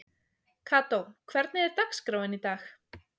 Kató, hvernig er dagskráin í dag?